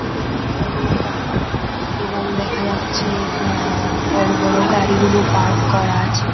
এটি একটি বড়ো গ্রাউন্ড এবং দেখা যাচ্ছে আ বড়ো বড়ো গাড়িগুলো পার্ক করা আছে।